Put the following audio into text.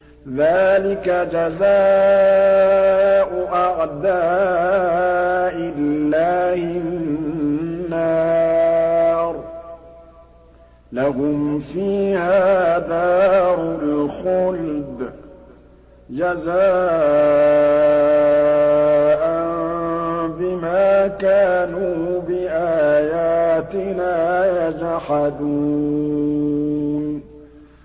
ذَٰلِكَ جَزَاءُ أَعْدَاءِ اللَّهِ النَّارُ ۖ لَهُمْ فِيهَا دَارُ الْخُلْدِ ۖ جَزَاءً بِمَا كَانُوا بِآيَاتِنَا يَجْحَدُونَ